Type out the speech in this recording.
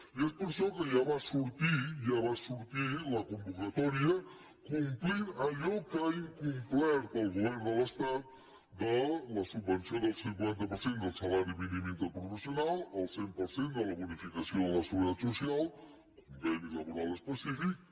i és per això que ja va sortir la convocatòria que complia allò que ha incomplert el govern de l’estat de la subvenció del cinquanta per cent del salari mínim interprofessional el cent per cent de la bonificació de la seguretat social conveni laboral específic